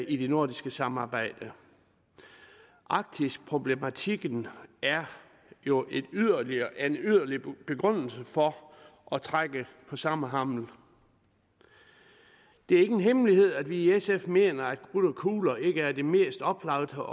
i det nordiske samarbejde arktisproblematikken er jo en yderligere begrundelse for at trække på samme hammel det er ikke en hemmelighed at vi i sf mener at krudt og kugler ikke er det mest oplagte